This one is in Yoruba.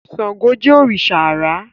Ṣángó ni òrìṣà àrá